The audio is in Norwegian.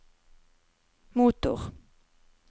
motor